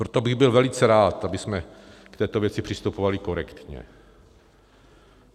Proto bych byl velice rád, abychom k této věci přistupovali korektně.